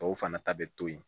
Tɔw fana ta bɛ to yen